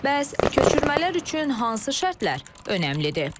Bəs köçürmələr üçün hansı şərtlər önəmlidir?